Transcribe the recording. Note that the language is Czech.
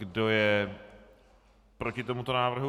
Kdo je proti tomuto zákonu?